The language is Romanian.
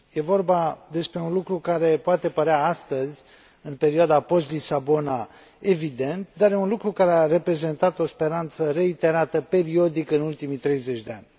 Este vorba despre un lucru care poate părea astăzi, în perioada post Lisabona, evident, dar este un lucru care a reprezentat o speranță reiterată periodic în ultimii treizeci de ani.